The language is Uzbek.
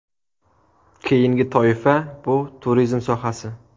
Keyingi toifa bu turizm sohasi.